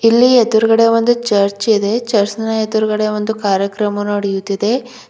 ಇಲ್ಲಿ ಎದ್ರುಗಡೆ ಒಂದು ಚರ್ಚ್ ಇದೆ ಚರ್ಚ್ನ ಎದ್ರುಗಡೆ ಒಂದು ಕಾರ್ಯಕ್ರಮ ನಡೆಯುತ್ತಿದೆ.